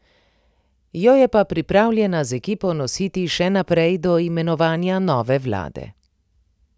Jo je pa pripravljena z ekipo nositi še naprej do imenovanja nove vlade.